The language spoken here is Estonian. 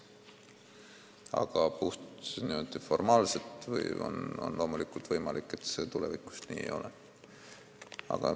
Aga puhtformaalselt on loomulikult võimalik, et see tulevikus nii ei ole.